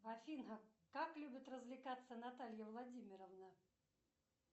афина как любит развлекаться наталья владимировна